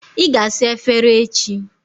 Ị ga-asa efere echi.